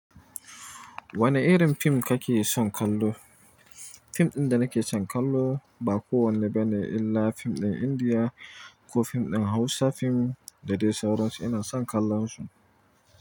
Wane irin fim kake son kallo? Fim ɗin da nake son kallo ba kowanne bane illa fim ɗin Indiya ko fim ɗin Hausa. Fim da dai sauransu ina son kallon su.